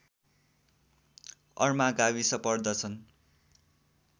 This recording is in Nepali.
अर्मा गाविस पर्दछन्